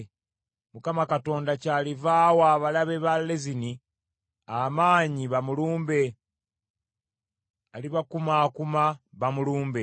Mukama Katonda kyaliva awa abalabe ba Lezini amaanyi bamulumbe; alibakumaakuma bamulumbe.